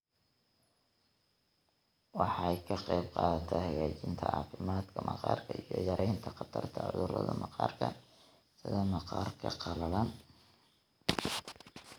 Waxay ka qaybqaadataa hagaajinta caafimaadka maqaarka iyo yaraynta khatarta cudurrada maqaarka sida maqaarka qalalan.